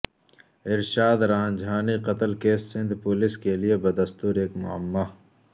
ارشاد رانجھانی قتل case Sindh police کیلئے بدستور ایک معمہ